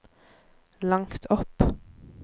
langt opp